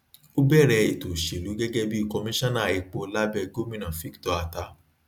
ó bẹrẹ ètò òṣèlú gẹgẹ bí commisioner epo labẹ gómìnà victor attah